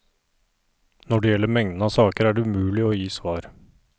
Når det gjelder mengden av saker er det umulig å gi svar.